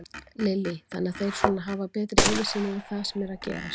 Lillý: Þannig að þeir svona hafa betri yfirsýn yfir það sem er að gerast?